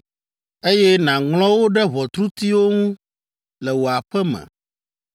eye nàŋlɔ wo ɖe ʋɔtrutiwo ŋu le wò aƒe me!